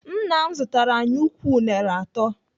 Nna m zụtara anyị ukwu unere atọ.